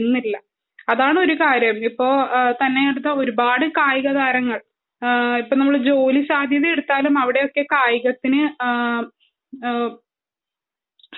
അതാണ് ഒരു കാര്യം ഇപ്പൊത്തന്നെ ഒരുപാട് കായിക താരങ്ങൾ നമ്മള് ജോലി സാധ്യത എടുത്താലും അവിടെയൊക്കെ കായികത്തിനു